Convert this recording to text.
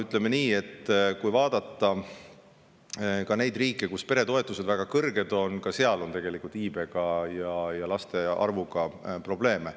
Ütleme nii, et ka nendes riikides, kus peretoetused on väga suured, on tegelikult iibega ja laste arvuga probleeme.